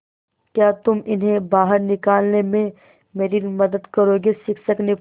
क्या तुम इन्हें बाहर निकालने में मेरी मदद करोगे शिक्षक ने पूछा